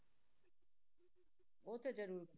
ਉਹ ਤੇ ਜ਼ਰੂਰ